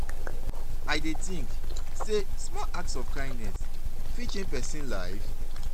i dey think say small acts of kindness fit change pesin life?